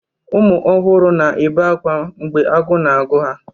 Ụmụ ọhụrụ na-ebe akwa mgbe agụụ na-agụ ha.